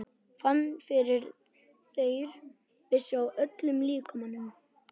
Fann fyrir þeirri vissu í öllum líkamanum.